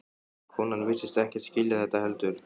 Konan virtist ekkert skilja þetta heldur.